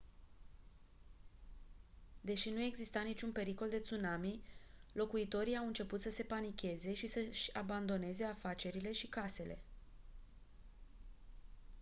deși nu exista niciun pericol de tsunami locuitorii au început să se panicheze și să-și abandoneze afacerile și casele